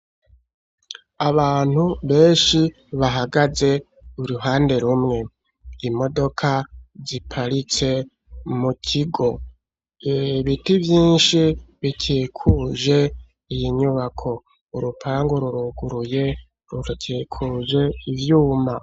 Abantu beshi bahagaze uruhande rumwe, imodoka ziparitse mu kigo, ibiti vyishi bikikuje iyi nyubako, urupangu ruruguruye rukikuje ivyuma.